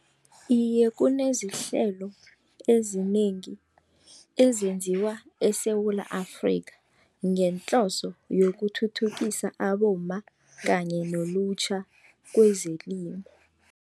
Iye, kunezihlelo ezinengi ezenziwa eSewula Afrika ngehloso yokuthuthukisa abomma kanye nelutjha kwezelimo.